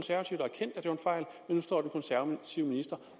nu står den konservative minister